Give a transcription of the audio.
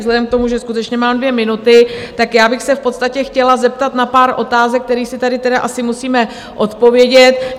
Vzhledem k tomu, že skutečně mám dvě minuty, tak já bych se v podstatě chtěla zeptat na pár otázek, které si tady tedy asi musíme odpovědět.